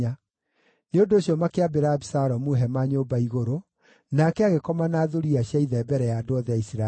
Nĩ ũndũ ũcio makĩambĩra Abisalomu hema nyũmba igũrũ, nake agĩkoma na thuriya cia ithe mbere ya andũ othe a Isiraeli.